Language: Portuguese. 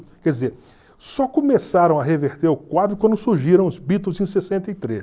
Quer dizer, só começaram a reverter o quadro quando surgiram os Beatles em sessenta e três.